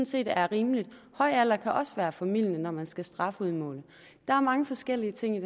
set er rimeligt høj alder kan også være formildende når man skal strafudmåle der er mange forskellige ting i